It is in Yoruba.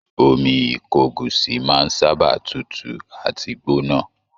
Omi ìkogusi máa sábà tútù àti gbóná